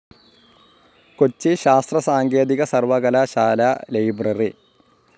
കൊച്ചി ശാസ്‌ത്ര സാങ്കേതിക സർവ്വകലാശാലാ ലൈബ്രറി